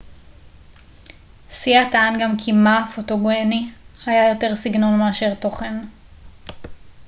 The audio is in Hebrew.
סייה טען גם כי מא הפוטוגני היה יותר סגנון מאשר תוכן